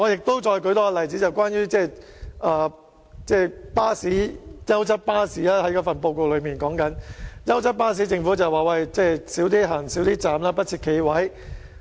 我再舉一個例子，就是報告提及的優質巴士服務，政府表示優質巴士可以減少停站，不設企位。